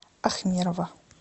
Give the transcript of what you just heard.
ахмерова